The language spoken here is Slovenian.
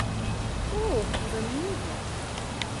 O, zanimivo.